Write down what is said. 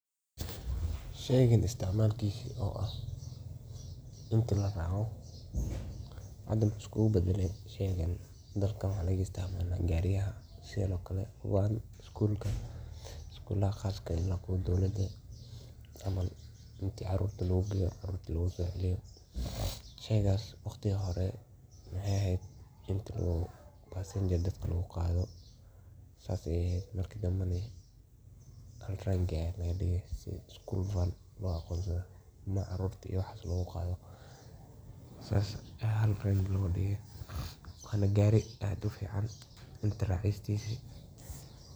Sheygani isticmalikisa oo ah inti laraaco hada wuxu iskuugbadaley sheygan dalka waxaa lagaisticmala gaariayan sidhan oo kale one iskuulka iskulaha qarashka iyo kuwa dowlada camal inticaruurta loogugeeyo loona sooceliyo. Sheygaas waqti hore waxeey aheed inti uu passenger dadku laguqaadho marki danbe neh school vaan ilmaha caruuta skull looguqaadho. wanagaari aad ufiican.